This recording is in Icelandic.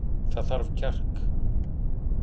Það þarf kjark